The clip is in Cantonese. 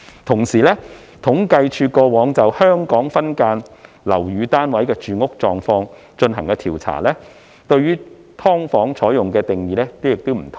同時，政府統計處過往就"香港分間樓宇單位的住屋狀況"進行調查，對"劏房"的定義亦有不同。